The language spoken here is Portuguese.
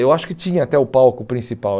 Eu acho que tinha até o palco principal.